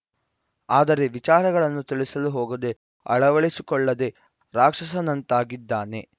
ಆದರೆ ವಿಚಾರಗಳನ್ನು ತಿಳಿಸಲು ಹೋಗದೆ ಅಳವಡಿಸಿಕೊಳ್ಳದೆ ರಾಕ್ಷಸನಂತಾಗಿದ್ದಾನೆ